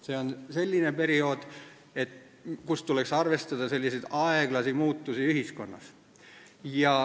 See on selline periood, kus tuleks arvestada aeglasi muutusi ühiskonnas.